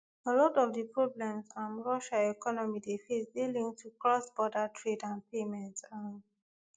a lot of di problems um russia economy dey face dey linked to crossborder trade and payments um